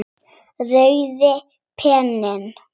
Rauði penninn líka víðs fjarri.